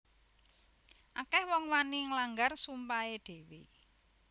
Akeh wong wani nglanggar sumpahe dhewe